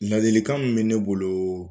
Ladilikan min bɛ ne bolo